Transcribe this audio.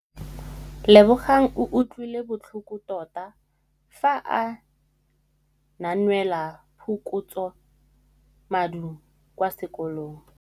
Lebogang o utlwile botlhoko tota fa a neelwa phokotsômaduô kwa sekolong.